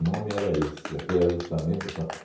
nome era esse, reajustamento econômico.